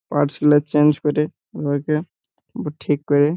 parts গুলা change করে উওয়াকে ব ঠিক করে--